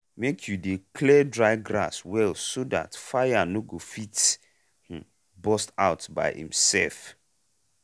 make you dey clear dry grass well so dat fire no go fit um burst out by imself.